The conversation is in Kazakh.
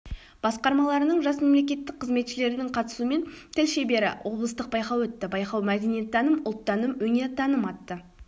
басқармаларының жас мемлекеттік қызметшілерінің қатысуымен тіл шебері облыстық байқауы өтті байқау мәдениеттаным ұлттаным өнертаным атты